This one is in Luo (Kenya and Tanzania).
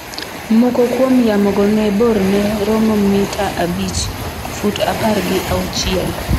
Moko kuom yamogo ne borne romo mita abich (fut apar gi auchiel).